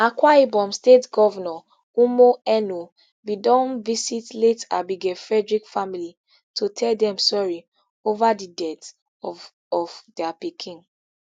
akwa ibom state govnor umo eno bin don visit late abigail frederick family to tell dem sorry over di death of of dia pikin